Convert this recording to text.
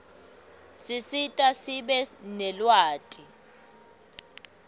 sisita sibe nelwati